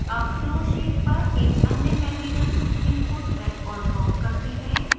अब flowsheet पर एक अन्य material stream को drag और drop करते हैं